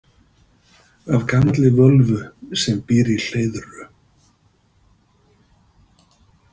Af gamalli völvu sem býr í Hleiðru.